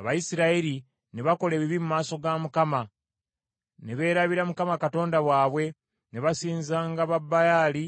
Abayisirayiri ne bakola ebibi mu maaso ga Mukama , ne beerabira Mukama Katonda waabwe ne basinzanga Babaali